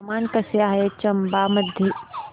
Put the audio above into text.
हवामान कसे आहे चंबा मध्ये